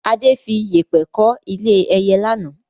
Adé fi Yépẹ́ kọ́ ilé ẹyẹ lánàá